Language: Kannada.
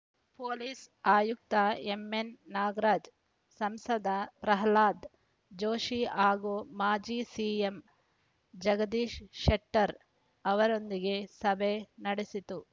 ಪೊಲೀಸ್‌ ಆಯುಕ್ತ ಎಂಎನ್‌ ನಾಗರಾಜ ಸಂಸದ ಪ್ರಹ್ಲಾದ ಜೋಶಿ ಹಾಗೂ ಮಾಜಿ ಸಿಎಂ ಜಗದೀಶ ಶೆಟ್ಟರ್‌ ಅವರೊಂದಿಗೆ ಸಭೆ ನಡೆಸಿತು